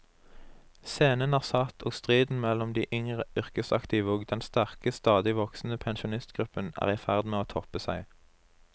Scenen er satt, og striden mellom de yngre yrkesaktive og den sterke, stadig voksende pensjonistgruppen er i ferd med å toppe seg.